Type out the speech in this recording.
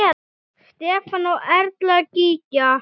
Stefán og Erla Gígja.